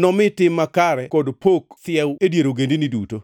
nomi tim makare kod pak thiew e dier ogendini duto.